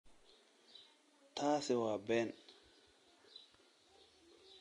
Taasi waa been